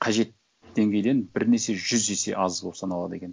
қажет деңгейден бірнеше жүз есе аз болып саналады екен